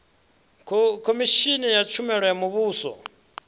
khomishini ya tshumelo ya muvhuso